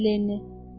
dedi Lenni.